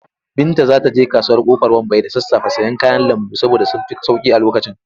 Binta za ta je kasuwar Ƙofar Wambai da sassafe sayen kayan lambu saboda sun fi sauƙi a lokacin.